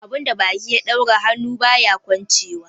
Abun da baki ya daura, hannu baya kwanchewa.